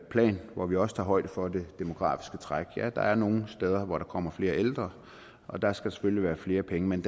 plan hvor vi også tager højde for det demografiske træk ja der er nogle steder hvor der kommer flere ældre og der skal selvfølgelig være flere penge men